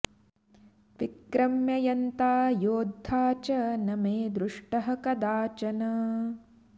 विक्रम्य यन्ता योद्धा च न मे दृष्टः कदाचन